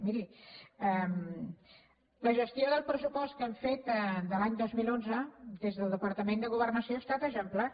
miri la gestió del pressupost que hem fet de l’any dos mil onze des del departament de governació ha estat exemplar